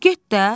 Get də!